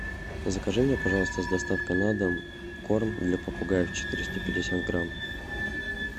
закажи мне пожалуйста с доставкой на дом корм для попугаев четыреста пятьдесят грамм